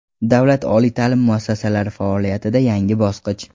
Davlat oliy taʼlim muassasalari faoliyatida yangi bosqich.